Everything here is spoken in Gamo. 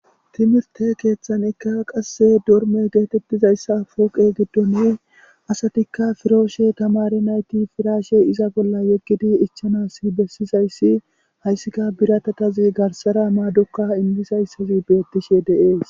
Timirte keeththanikka qasse dorme geetettizayssa pooqe giddone asatikka firooshe tamare nayti firaashe iza bolla yeggidi ichanasi bessizayssi hayssikka biratatazi garsara maadokka indisayssazi bettishe deees.